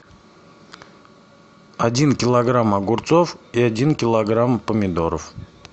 один килограмм огурцов и один килограмм помидоров